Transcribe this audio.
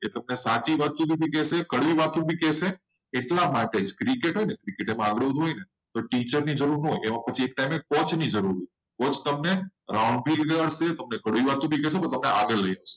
સાચી વાત એવી કેસે કડવી વાતો ભી કહેશે. એટલે તમને ક્રિકેટરી જરૂર ન હોય તમને કોચની જરૂર પડે. અને સાચી ને કડવી વાપરવી કહેશે.